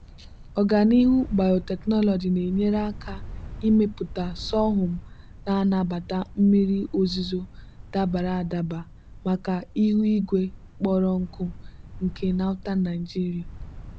ọganihu biotechnology na-enyere aka ịmepụta sorghum na-anabata mmiri ozuzo dabara adaba maka ihu igwe kpọrọ nkụ nke northern nigeria.